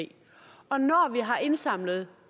og når vi har indsamlet